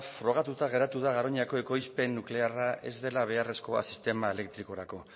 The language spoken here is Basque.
frogatuta geratu da garoñako ekoizpen nuklearra ez dela beharrezkoa sistema elektrikorako